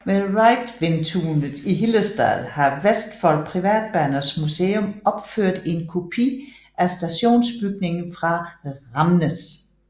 Ved Reidvintunet i Hillestad har Vestfold Privatbaners museum opført en kopi af stationsbygningen fra Ramnes